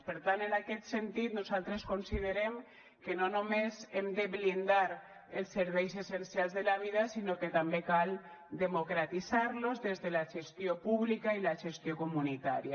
per tant en aquest sentit nosaltres considerem que no només hem de blindar els serveis essencials de la vida sinó que també cal democratitzar los des de la gestió pública i la gestió comunitària